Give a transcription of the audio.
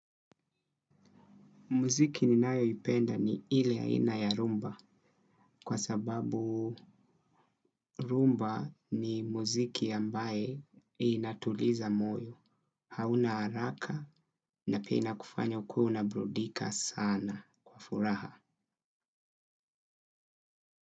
Muziki ninayoipenda ni ile aina ya rumba kwa sababu rumba ni muziki ambaye inatuliza moyo. Hauna haraka na pia inkufanya ukue unabrudika sana kwa furaha.